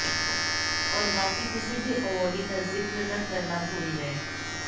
और बाकी किसी भी अवॉर्डी का ज़िक्र तक करना भूल गए